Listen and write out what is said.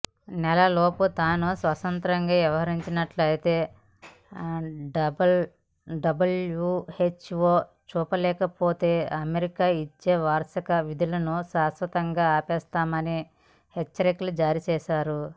నెలలోపు తాను స్వతంత్రంగా వ్యవహరిస్తున్నట్లు డబ్ల్యూహెచ్ఓ చూపలేకపోతే అమెరికా ఇచ్చే వార్షిక నిధులను శాశ్వతంగా ఆపేస్తామని హెచ్చరికలు జారీ చేశారు